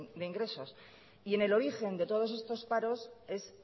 de ingresos y en el origen de todos estos paros es